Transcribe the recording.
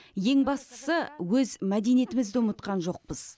ең бастысы өз мәдениетімізді ұмытқан жоқпыз